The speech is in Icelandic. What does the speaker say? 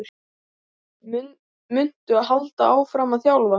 Muntu halda áfram að þjálfa?